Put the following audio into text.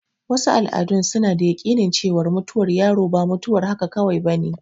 Wasu al'adun suna da yaƙinin cewar mutuwar yaro ba mutuwar haka kawai bane.